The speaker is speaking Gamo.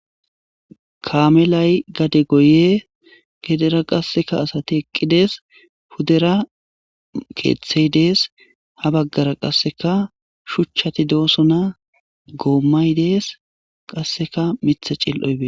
Kamelay gade goyes henira qaseka asati eqidas pudera kethey Des ha bagara qaseka shuchati de'osona gomay des qaseka Mitha c'ili'o betes.